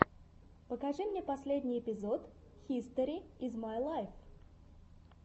покажи мне последний эпизод хистори из май лайф